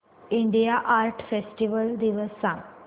India art festival दिवस सांग